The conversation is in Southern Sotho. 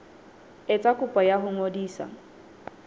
etsa kopo ya ho ngodisa